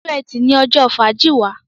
Ọjọ́ Ẹti ní ojó fàájì wá